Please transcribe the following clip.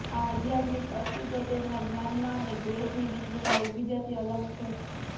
આ આધ્યાત્મિક અસ્તિત્વ તેમના જ્ઞાનમાં અને ગ્રેસની ડિગ્રીમાં એકબીજાથી અલગ છે